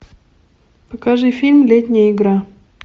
покажи фильм летняя игра